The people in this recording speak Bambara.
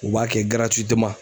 U b'a kɛ giratiwiteman